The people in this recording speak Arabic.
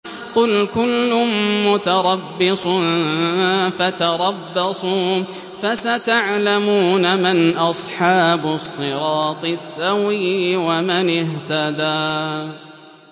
قُلْ كُلٌّ مُّتَرَبِّصٌ فَتَرَبَّصُوا ۖ فَسَتَعْلَمُونَ مَنْ أَصْحَابُ الصِّرَاطِ السَّوِيِّ وَمَنِ اهْتَدَىٰ